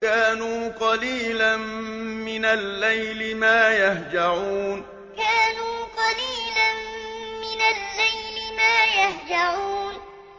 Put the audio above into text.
كَانُوا قَلِيلًا مِّنَ اللَّيْلِ مَا يَهْجَعُونَ كَانُوا قَلِيلًا مِّنَ اللَّيْلِ مَا يَهْجَعُونَ